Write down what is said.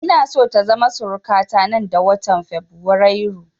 Ina so ta zama suruka ta nan da watan fabrairu